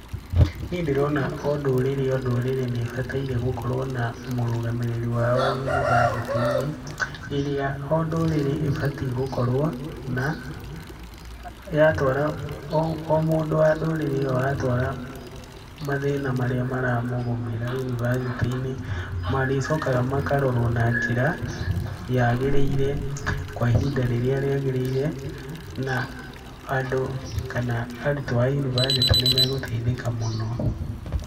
Niĩ ndĩrona o ndũrĩrĩ o ndurĩrĩ nĩ ĩbatairie gũkorwo na mũrũgamĩrĩri wao wa yunibacĩtĩ-inĩ ĩrĩa o ndũrĩrĩ ĩbatie gũkorwo na,o mũndũ wa ndũrĩrĩ ĩyo atwara mathĩna marĩa maramũgũmĩra yunibacĩtĩ-inĩ marĩcokaga makarorwo na njĩra yagĩrĩire kwa ihinda rĩrĩa rĩagĩrĩire, na andũ kana arutwo a yunibacĩtĩ nĩ magũteithĩka mũno.